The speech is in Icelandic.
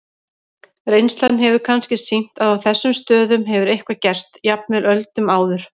Reynslan hefur kannski sýnt að á þessum stöðum hefur eitthvað gerst, jafnvel á öldum áður.